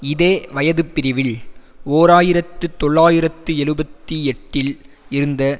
இதே வயதுப்பிரிவில் ஓர் ஆயிரத்து தொள்ளாயிரத்து எழுபத்தி எட்டில் இருந்த